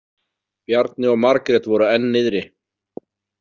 Bjarni og Margrét voru enn niðri.